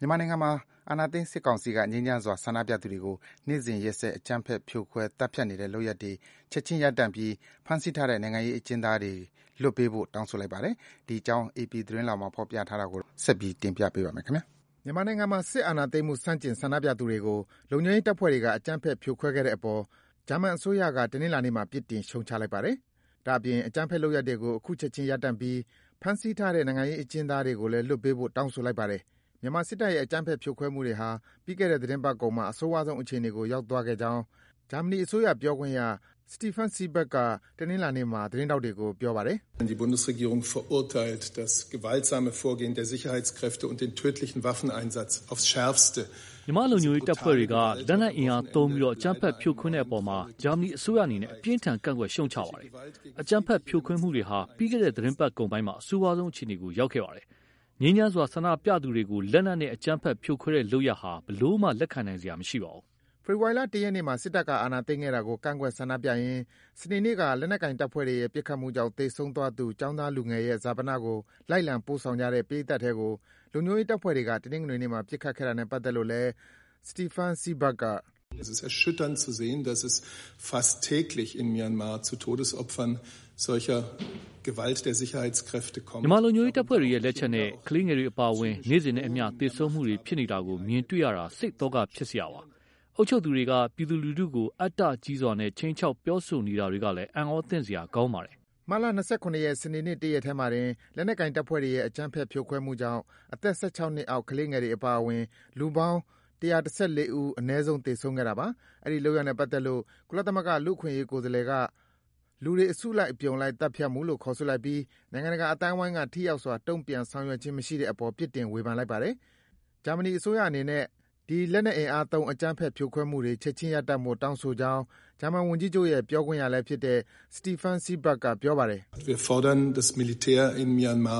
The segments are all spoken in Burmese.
မြန်မာနိုင်ငံမှာ အာဏာသိမ်းစစ်ကောင်စီက ငြိမ်းချမ်းစွာ ဆန္ဒပြသူတွေကို နေ့စဉ် ရက်ဆက် အကြမ်းဖက် ဖြိုခွဲ၊ သတ်ဖြတ်နေတဲ့ လုပ်ရပ်တွေ ချက်ခြင်း ရပ်တန့်ပြီး ဖမ်းဆီးထားတဲ့ နိုင်ငံခြားရေးအကျဉ်းသားတွေ လွှတ်ပေးဖို့ တောင်းဆိုလိုက်ပါတယ်။ ဒီအကြောင်းကို အေပီ သတင်းဆောင်းပါးကို အခြေခံပြီး ကိုဇော်ဝင်းလှိုင်က တင်ပြပေးပါမယ်။ မြန်မာနိုင်ငံမှာ စစ်အာဏာသိမ်းမှု ဆန့်ကျင် ဆန္ဒပြသူတွေကို လုံခြုံရေးတပ်ဖွဲ့တွေက အကြမ်းဖက် ဖြိုခွဲခဲ့နေတဲ့အပေါ် ဂျာမန်အစိုးရက တနင်္လာနေ့မှာ ပြစ်တင် ရှုတ်ချလိုက်ပါတယ်။ ဒါ့အပြင် အကြမ်းဖက်လုပ်ရပ်တွေကို ချက်ခြင်း ရပ်တန့်ပြီး ဖမ်းဆီးထားတဲ့ နိုင်ငံရေးအကျဉ်းသားတွေကို လွှတ်ပေးဖို့ တောင်းဆိုလိုက်ပါတယ်။ မြန်မာစစ်တပ်ရဲ့ အကြမ်းဖက် ဖြိုခွဲမှုတွေဟာ ပြီးခဲ့တဲ့ သီတင်းပတ်ကုန်ပိုင်းမှာ အဆိုးရွားဆုံးအခြေအနေကို ရောက်သွားခဲ့ကြောင်း ဂျာမနီအစိုးရ ပြောခွင့်ရ Steffen Seibert က တနင်္လာနေ့မှာ သတင်းထောက်တွေကို ပြောပါတယ်။ “မြန်မာလုံခြုံရေးတပ်ဖွဲ့တွေက လက်နက်အင်အားသုံးပြီး အကြမ်းဖက် ဖြိုခွဲတဲ့အပေါ် ဂျာမနီအစိုးရအနေနဲ့ အပြင်းအထန် ကန့်ကွက် ရှုတ်ချပါတယ်။ အကြမ်းဖက် ဖြိုခွဲမှုတွေဟာ ပြီးခဲ့တဲ့ သီတင်းပတ်ကုန်ပိုင်းမှာ အဆိုးရွားဆုံးအခြေအနေကို ရောက်ခဲ့ပါတယ်။ ငြိမ်းချမ်းစွာ ဆန္ဒပြကြသူတွေကို လက်နက်နဲ့ အကြမ်းဖက်ဖြိုခွဲတဲ့ လုပ်ရပ်ဟာ ဘယ်လိုမှ လက်ခံနိုင်စရာ မရှိပါဘူး။” ဖေဖော်ဝါရီလ ၁ ရက်နေ့မှာ စစ်တပ်က အာဏာသိမ်းခဲ့တာကို ကန့်ကွက် ဆန္ဒပြရင်း စနေနေ့က လက်နက်ကိုင်တပ်ဖွဲ့တွေရဲ့ ပတ်ခတ်မှုကြောင့် သေဆုံးသွားသူ ကျောင်းသားလူငယ်ရဲ့ ဈာပနကို လိုက်လံပို့ဆောင်ကြတဲ့ ပရိတ်သတ်ထဲကို လုံခြုံရေးတပ်ဖွဲ့တွေက တနင်္ဂနွေနေ့မှာ ပစ်ခတ်ခဲ့တာနဲ့ပတ်သက်လို့လည်း Steffen Seibert က - “မြန်မာလုံခြုံရေးတပ်ဖွဲ့တွေရဲ့ လက်ချက်နဲ့ ကလေးငယ်တွေအပါအဝင် နေ့စဉ်နဲ့အမျှ သေဆုံးမှုတွေ ဖြစ်နေတာကို မြင်တွေ့နေရတာဟာ စိတ်သောက ဖြစ်စရာပါ။ အုပ်ချုပ်သူတွေက ပြည်သူလူထုကို အတ္တကြီးစွာ ခြိမ်းခြောက် ပြောဆိုနေတာတွေကလည်း အံ့အားသင့်စရာ ကောင်းပါတယ်။” မတ်လ ၂၇ ရက်၊ စနေနေ့ တရက်ထဲမှာတင် လက်နက်ကိုင်တပ်ဖွဲ့တွေရဲ့ အကြမ်းဖက် ဖြိုခွဲမှုကြောင့် အသက် ၁၆ နှစ်အောက် ကလေးငယ်တွေအပါအဝင် လူပေါင်း ၁၁၄ ဦး သေဆုံးခဲ့တာပါ။ အဲဒီ လုပ်ရပ်နဲ့ပတ်သက်လို့ ကုလသမဂ္ဂကလူ့အခွင့်အရေး ကိုယ်စားလှယ်က “လူတွေ အစုလိုက်အပြုံလိုက် သတ်ဖြတ်မှု” လို့ ခေါ်ဆိုလိုက်ပြီး နိုင်ငံတကာအသိုင်းဝိုင်းက ထိရောက်စွာ တုံ့ပြန် ဆောင်ရွက်ခြင်း မရှိတဲ့အပေါ် ပြစ်တင် ဝေဖန်လိုက်ပါတယ်။ ဂျာမနီအစိုးရအနေနဲ့ ဒီ လက်နက်အင်အားသုံးပြီး အကြမ်းဖက် ဖြိုခွဲမှုတွေ ချက်ခြင်းရပ်တန့်ဖို့ တောင်းဆိုကြောင်း ဂျာမန်ဝန်ကြီးချုပ်ရဲ့ ပြောခွင့်ရလည်းဖြစ်တဲ့ Steffen Seibert က ပြောပါတယ်။ “မြန်မာ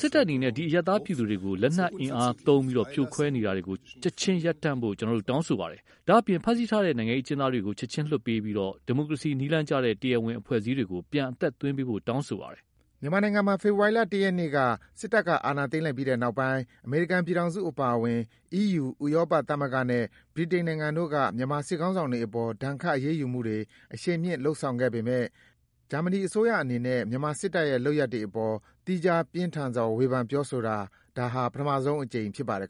စစ်တပ်အနေနဲ့ ဒီ အရပ်သားပြည်သူတွေကို လက်နက်အင်အားသုံး ဖြိုခွဲနေတာကို ချက်ခြင်းရပ်တန့်ဖို့ ကျနော်တို့ တောင်းဆိုပါတယ်။ ဒါ့အပြင် ဖမ်းဆီးထားတဲ့ နိုင်ငံရေးအကျဉ်းသားတွေကို ချက်ခြင်းလွှတ်ပေးပြီး ဒီမိုကရေစီ နည်းလမ်းကျတဲ့ တရားဝင်အဖွဲ့အစည်းတွေကို ပြန်အသက်သွင်းပေးဖို့ တောင်းဆိုပါတယ်။” မြန်မာနိုင်ငံမှာ ဖေဖော်ဝါရီလ ၁ ရက်နေ့က စစ်တပ်က အာဏာသိမ်းလိုက်ပြီးတဲ့နောက်ပိုင်း အမေရိကန်ပြည်ထောင်စုအပါအဝင် အီးယူ ဥရောပသမဂ္ဂနဲ့ ဗြိတိန်နိုင်ငံတို့က မြန်မာစစ်ခေါင်းဆောင်တွေအပေါ် ဒဏ်ခတ် အရေးယူမှုတွေ အရှိန်မြင့် လုပ်ဆောင်လာနေပေမဲ့ ဂျာမနီ အစိုးရအနေနဲ့ မြန်မာစစ်တပ်ရဲ့ လုပ်ရပ်အပေါ် သီးခြား ပြင်းထန်စွာ ဝေဖန် ပြောဆိုတာ ဒါ ပထမဆုံးအကြိမ် ဖြစ်ပါတယ်